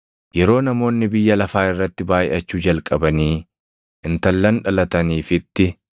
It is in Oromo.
Yeroo namoonni biyya lafaa irratti baayʼachuu jalqabanii intallan dhalataniifitti,